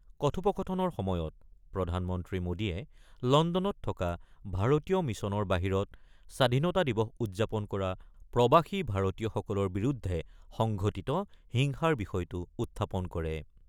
কথোপকথনৰ সময়ত প্ৰধানমন্ত্ৰী মোদীয়ে লণ্ডনত থকা ভাৰতীয় মিছনৰ বাহিৰত স্বাধীনতা দিৱস উদযাপন কৰা প্ৰৱাসী ভাৰতীয়সকলৰ বিৰুদ্ধে সংঘটিত হিংসাৰ বিষয়টো উত্থাপন কৰে।